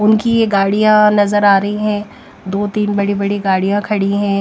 उनकी ये गाड़ियाँ नज़र आ रही है दो-तीन बड़ी-बड़ी गाड़ियाँ खड़ी हैं।